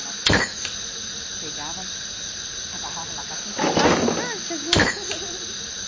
Ela pegava, agarrava o macaquinho... Jesus!